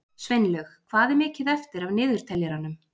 Sveinlaug, hvað er mikið eftir af niðurteljaranum?